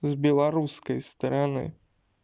с белорусской стороны